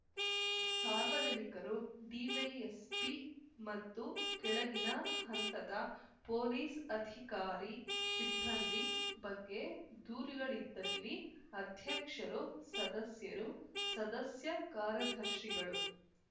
ಸಾರ್ವಜನಿಕರು ಡಿವೈಎಸ್‌ಪಿ ಮತ್ತು ಕೆಳಗಿನ ಹಂತದ ಪೊಲೀಸ್‌ ಅಧಿಕಾರಿ ಸಿಬ್ಬಂದಿ ಬಗ್ಗೆ ದೂರುಗಳಿದ್ದಲ್ಲಿ ಅಧ್ಯಕ್ಷರು ಸದಸ್ಯರು ಸದಸ್ಯ ಕಾರ್ಯದರ್ಶಿಗಳು